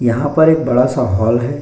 यहाँ पर एक बडा सा हॉल है।